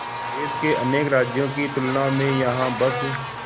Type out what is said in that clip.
देश के अनेक राज्यों की तुलना में यहाँ बस